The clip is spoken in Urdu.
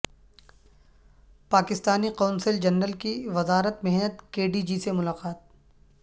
پاکستانی قونصل جنرل کی وزارت محنت کےڈی جی سے ملاقات